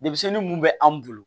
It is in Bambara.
Denmisɛnnin mun bɛ anw bolo